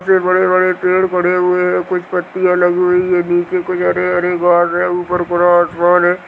इतने बड़े-बड़े पेड़ पौधे हुए है कुछ पतियाँ लगी हुई हैं नीचे कुछ हरे-हरे घास है ऊपर पूरा आसमान है।